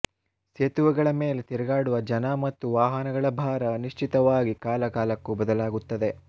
ಸೇತುವೆಗಳ ಮೇಲೆ ತಿರುಗಾಡುವ ಜನ ಮತ್ತು ವಾಹನಗಳ ಭಾರ ಅನಿಶ್ಚಿತವಾಗಿ ಕಾಲ ಕಾಲಕ್ಕೂ ಬದಲಾಗುತ್ತದೆ